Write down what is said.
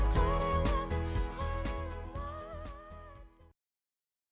қарайлама